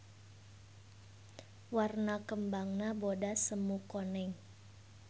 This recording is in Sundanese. Warna kembangna bodas semu koneng.